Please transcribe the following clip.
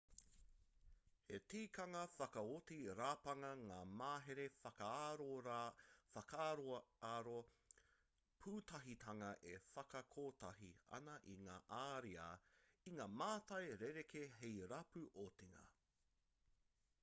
he tikanga whakaoti rapanga ngā mahere whakaaroaro pūtahitanga e whakakotahi ana i ngā ariā i ngā mātai rerekē hei rapu otinga